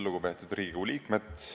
Lugupeetud Riigikogu liikmed!